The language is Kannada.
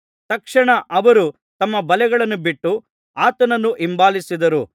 ತಕ್ಷಣ ಅವರು ತಮ್ಮ ಬಲೆಗಳನ್ನು ಬಿಟ್ಟು ಆತನನ್ನು ಹಿಂಬಾಲಿಸಿದರು